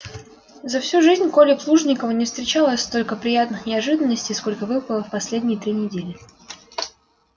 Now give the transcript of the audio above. за всю жизнь коле плужникову не встречалось столько приятных неожиданностей сколько выпало в последние три недели